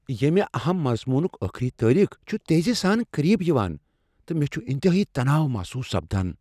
ییمہِ اہم مضموُنٗك ٲخری تٲریخ چھٗ تیزی سان قریب یوان ، تہٕ مے٘ چھٗ انتہٲیی تناو محصوُص سپدان ۔